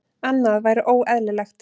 Annað væri óeðlilegt.